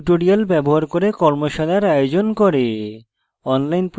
tutorials ব্যবহার করে কর্মশালার আয়োজন করে